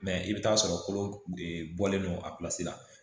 Mɛ i bɛ t'a sɔrɔ kolo bɔlen don a pilasi la